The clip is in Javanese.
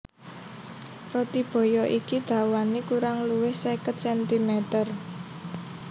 Roti baya iki dawané kurang luwih seket centimeter